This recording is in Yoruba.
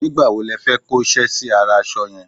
nígbà wo lo fẹ́ kó ṣẹ́ sí ara aṣọ yẹn?